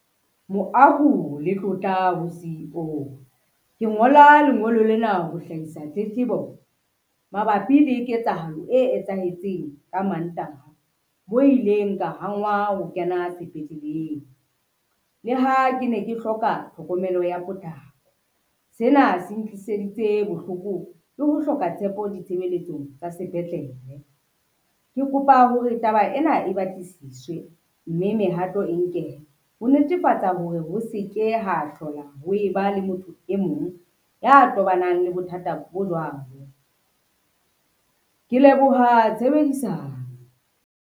Moahu le tlotla ho C_E_O, ke ngola lengolo lena ho hlahisa tletlebo mabapi le ketsahalo e etsahetseng ka Mantaha, mo ileng ka hangwa ho kena sepetleleng, le ha ke ne ke hloka tlhokomelo ya potlako. Sena se ntliseditse bohloko le ho hloka tshepo ditshebeletsong tsa sepetlele. Ke kopa hore taba ena e batlisiswe, mme mehato e nkehe, ho netefatsa hore ho se ke ho hlola ha e ba le motho e mong ya tobanang le bothata bo jwalo, ke leboha tshebedisano.